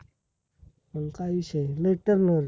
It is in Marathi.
मंग काय विषय आहे लय turnover